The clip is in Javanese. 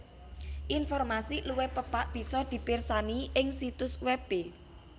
Informasi luwih pepak bisa dipirsani ing situs webé